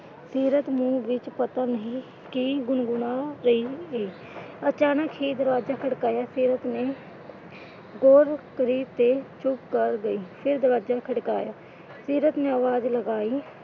ਸੀਰਤ ਮੂੰਹ ਵਿੱਚ ਪਤਾ ਨਹੀਂ ਕੀ ਗੁਣਗੁਣਾ ਰਹੀ ਐ। ਅਚਾਨਕ ਹੀ ਦਰਵਾਜਾ ਖੜਕਾਇਆ, ਸੀਰਤ ਨੇ ਗੌਰ ਕਰੀ ਤੇ ਚੁੱਪ ਕਰ ਗਈ। ਫਿਰ ਦਰਵਾਜਾ ਖੜਕਾਇਆ, ਸੀਰਤ ਨੇ ਆਵਾਜ਼ ਲਗਾਈ।